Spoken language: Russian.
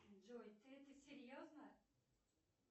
джой ты это серьезно